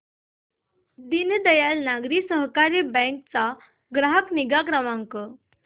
दीनदयाल नागरी सहकारी बँक चा ग्राहक निगा क्रमांक